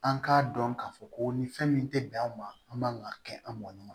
An k'a dɔn k'a fɔ ko ni fɛn min tɛ bɛn an ma an man ka kɛ an mɔn